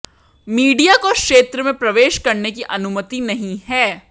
media को क्षेत्र में प्रवेश करने की अनुमति नहीं है